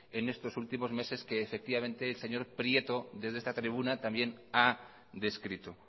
en estos últimos meses que el señor prieto desde esta tribuna también ha descrito